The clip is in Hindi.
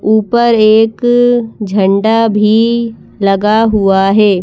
ऊपर एक झंडा भी लगा हुआ है।